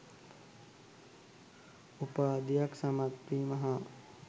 උපාධියක් සමත්වීම හා